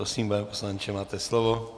Prosím, pane poslanče, máte slovo.